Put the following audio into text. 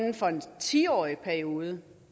ti årig periode